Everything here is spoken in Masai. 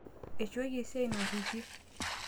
eishooki esiai narripie